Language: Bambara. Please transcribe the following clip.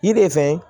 Yiri fɛn